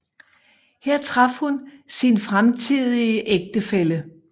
Her traf hun sin fremtidige ægtefælle